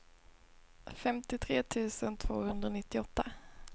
femtiotre tusen tvåhundranittioåtta